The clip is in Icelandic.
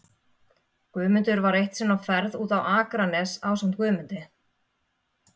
Guðmundur var eitt sinn á ferð út á Akranes ásamt Guðmundi